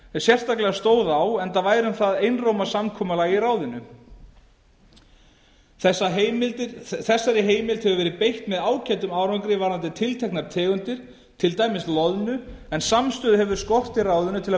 ef sérstaklega stóð á enda væri um það einróma samkomulag í ráðinu þessari heimild hefur verið beitt með ágætum árangri varðandi tilteknar tegundir til dæmis loðnu en samstöðu hefur skort í ráðinu til að